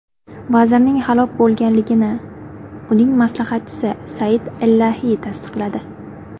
Vazirning halok bo‘lganligini uning maslahatchisi Said Illahi tasdiqladi.